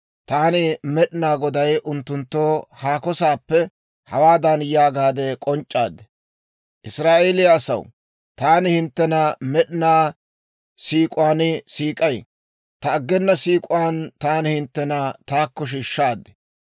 taani Med'inaa Goday unttunttoo haako saappe hawaadan yaagaade k'onc'c'aad; ‹Israa'eeliyaa asaw, taani hinttena med'inaa siik'uwaan siik'ay; ta aggena siik'uwaan taani hinttena taakko shiishshaad.